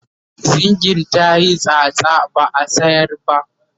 zingin tayi tsatsa ba'a sayar ba